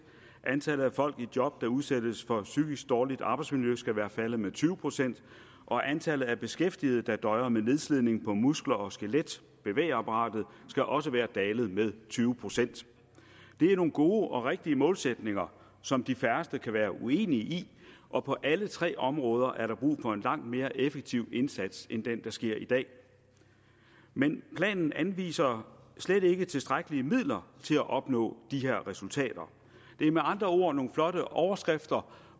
antallet af folk i job der udsættes for psykisk dårligt arbejdsmiljø skal være faldet med tyve procent og antallet af beskæftigede der døjer med nedslidning på muskler og skelet bevægeapparatet skal også være dalet med tyve procent det er nogle gode og rigtige målsætninger som de færreste kan være uenige i og på alle tre områder er der brug for en langt mere effektiv indsats end den der sker i dag men planen anviser slet ikke tilstrækkelige midler til at opnå de her resultater det er med andre ord nogle flotte overskrifter